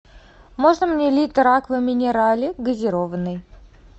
можно мне литр аква минерале газированной